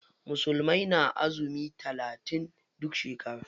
Musulmai na azumi talatin duk shekara.